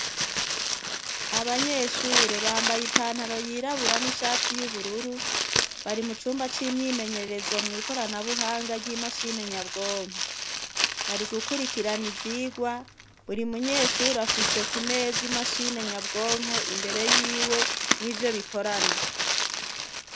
Abanyeshure bambaye ipantaro yirabura n'ishati y'ubururu. Bari mucumba c'imyimenyerezo mwikoranabuhanga ry'imashini nyabwonko. Bari gukurikirana ivyirwa, buri munyeshure afise kumeza imashini nyabwonko imbere yiwe nivyo bikorana.